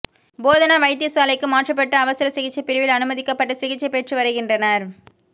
போதனா வைத்திய சாலைக்கு மாற்றப்பட்டு அவசர சிகிச்சை பிரிவில் அனுமதிக்கப்பட்டு சிகிச்சை பெற்று வருகின்றனர்